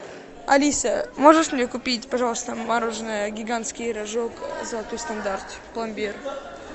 алиса можешь мне купить пожалуйста мороженое гигантский рожок золотой стандарт пломбир